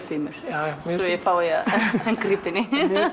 fimur svo ég fái að grípa inn í